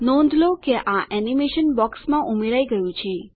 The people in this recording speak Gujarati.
નોંધ લો કે આ એનીમેશન બોક્સમાં ઉમેરાઈ ગયું છે